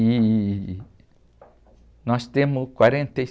E nós temos quarenta e